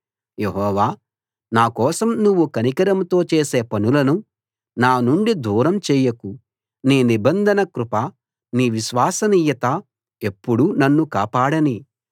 యెహోవా నా కోసం నువ్వు కనికరంతో చేసే పనులను నా నుండి దూరం చేయకు నీ నిబంధన కృప నీ విశ్వసనీయత ఎప్పుడూ నన్ను కాపాడనీ